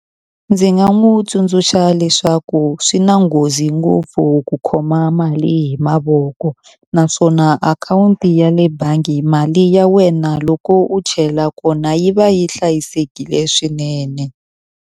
Ndzi nga n'wi tsundzuxa leswaku swi na nghozi ngopfu ku khoma mali hi mavoko, naswona akhawunti ya le bangi mali ya wena loko u chela kona yi va yi hlayisekile swinene.